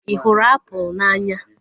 Ị hụrụ apụl n'anya?